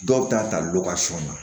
Dɔw bɛ taa tali dɔ kɛ sɔnna